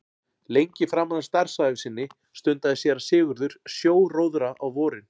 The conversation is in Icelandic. Lengi framan af starfsævi sinni stundaði séra Sigurður sjóróðra á vorin.